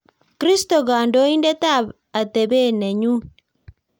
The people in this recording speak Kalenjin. Kristo kokandoindet ab atepet ne nyun